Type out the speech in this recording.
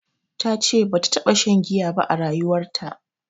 Tace bata taɓa shan giya ba a rayuwarta